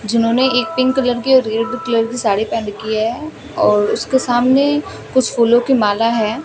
जिन्होंने एक pink colour की और रेड कलर की साड़ी पहन रखी है और उसके सामने कुछ फूलों की माला है।